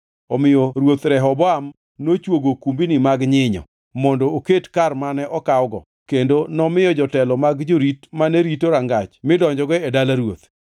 Omiyo Ruoth Rehoboam nochwogo okumbni mag nyinyo mondo oket kar mane okawgo kendo nomiyo jotelo mag jorit mane rito rangach midonjogo e dala ruoth.